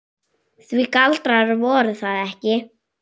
Því galdrar voru það ekki.